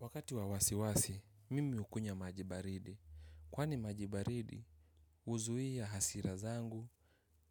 Wakati wa wasiwasi, mimi hukunya maji baridi. Kwani maji baridi, huzuia hasira zangu